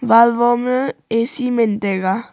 wall woh ma A_C men taiga.